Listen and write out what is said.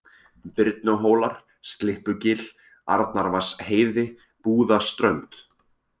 Birnuhólar, Slyppugil, Arnarvatnsheiði, Búðaströnd